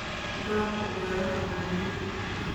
Doorka beeruhu waa muhiim.